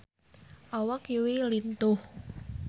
Awak Yui lintuh